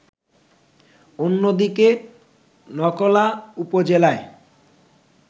অন্যদিকে নকলা উপজেলায়